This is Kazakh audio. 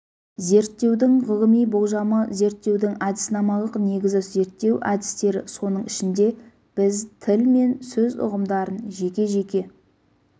зерттеудің ғылыми болжамы зерттеудің әдіснамалық негізі зерттеу әдістері соның ішінде біз тіл мен сөз ұғымдарын жеке-жеке